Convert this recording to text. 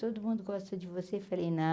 Todo mundo gosta de você, falei, não.